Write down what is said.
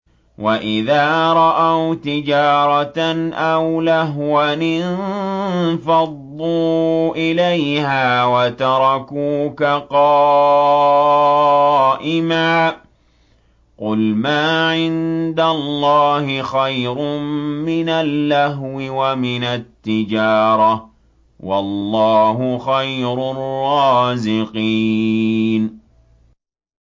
وَإِذَا رَأَوْا تِجَارَةً أَوْ لَهْوًا انفَضُّوا إِلَيْهَا وَتَرَكُوكَ قَائِمًا ۚ قُلْ مَا عِندَ اللَّهِ خَيْرٌ مِّنَ اللَّهْوِ وَمِنَ التِّجَارَةِ ۚ وَاللَّهُ خَيْرُ الرَّازِقِينَ